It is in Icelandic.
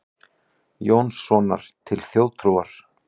Jónssonar til þjóðtrúar.